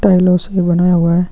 टाइलों से बना हुआ है।